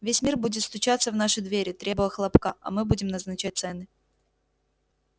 весь мир будет стучаться в наши двери требуя хлопка а мы будем назначать цены